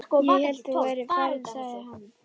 Ég hélt þú værir farinn sagði hann.